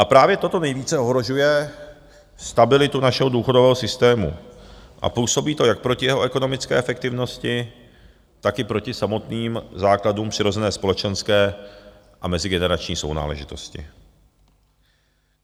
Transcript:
A právě toto nejvíce ohrožuje stabilitu našeho důchodového systému a působí to jak proti jeho ekonomické efektivnosti, tak i proti samotným základům přirozené společenské a mezigenerační sounáležitosti.